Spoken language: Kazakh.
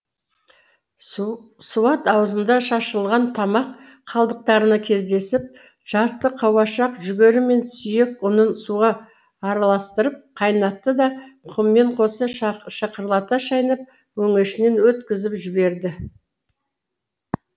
суат аузында шашылған тамақ қалдықтарына кездесіп жарты қауашақ жүгері мен сүйек ұнын суға араластырып қайнатты да құмымен қоса шықырлата шайнап өңешінен өткізіп жіберді